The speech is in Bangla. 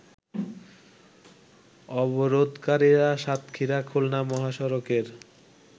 অবরোধকারীরা সাতক্ষীরা খুলনা মহাসড়কের